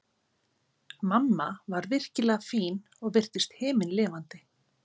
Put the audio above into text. Mamma var virkilega fín og virtist himinlifandi.